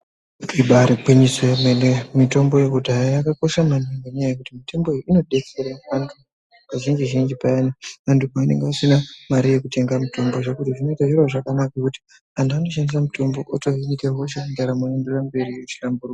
Ibaari gwinyiso yemene, mitomboyo kuti hai yakakosha maningi ngenyaya yekuti mitomboyo inodetsere vantu. Kazhinji zhinji payane vantu pavanenge vasina mare yekutenga mitombo ,zvokuti zvinoita zviro zvakanaka kuti antu anoshandise mitombo otsvaka kuita hosha ,ndaramo yoenderera mberi muchihlamburuka.